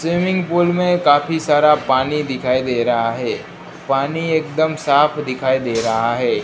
Swimming pool में काफी सारा पानी दिखाई दे रहा है पानी एकदम साफ दिखाई दे रहा है।